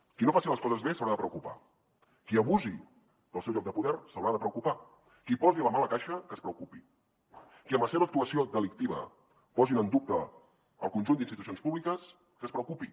qui no faci les coses bé s’haurà de preocupar qui abusi del seu lloc de poder s’haurà de preocupar qui posi la mà a la caixa que es preocupi qui amb la seva actuació delictiva posi en dubte el conjunt d’institucions públiques que es preocupi